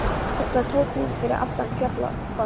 Þetta tók út yfir allan þjófabálk!